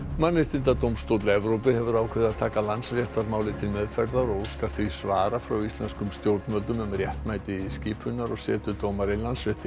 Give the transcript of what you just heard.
mannréttindadómstóll Evrópu hefur ákveðið að taka Landsréttarmálið til meðferðar og óskar því svara frá íslenskum stjórnvöldum um réttmæti skipunar og setu dómara í Landsrétti